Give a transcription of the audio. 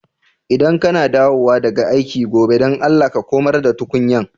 ldan ka na dawowa daga aiki gobe, dan Allah ka komar da tukunyan.